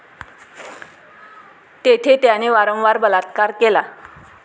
तेथे त्याने वारंवार बलात्कार केला.